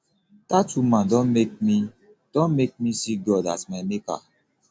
dat woman don make me don make me see god as my maker